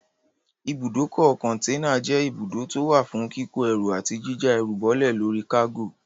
Ibùdókọ̀ kọ̀ǹtẹ́nà jẹ́ ibùdókọ̀ tó wà fún kíkó ẹrú àti jíjá ẹrù bọ́lè lórí kágò.